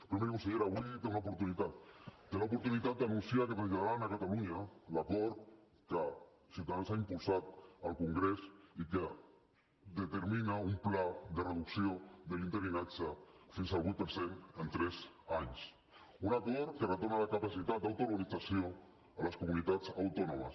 però miri consellera avui té una oportunitat té l’oportunitat d’anunciar que traslladaran a catalunya l’acord que ciutadans ha impulsat al congrés i que determina un pla de reducció de l’interinatge fins al vuit per cent en tres anys un acord que retorna la capacitat d’autoorganització a les comunitats autònomes